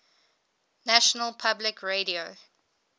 national public radio